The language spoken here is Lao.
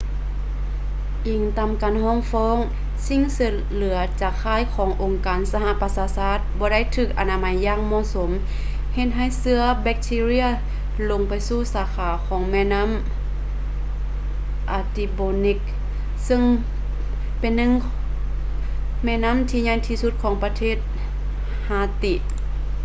ອີງຕາມການຟ້ອງຮ້ອງ ສິ່ງເສດເຫຼືອຈາກຄ້າຍຂອງອົງການສະຫະປະຊາຊາດບໍ່ໄດ້ຖືກອະນາໄມຢ່າງເໝາະສົມ ເຮັດໃຫ້ເຊື້ອແບັກທີເຣຍລົງໄປສູ່ສາຂາຂອງແມ່ນໍ້າ artibonite ເຊິ່ງເປັນໜຶ່ງແມ່ນໍ້າທີ່ໃຫຍ່ທີ່ສຸດຂອງປະເທດ haiti